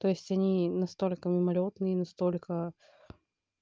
то есть они настолько мимолётные и настолько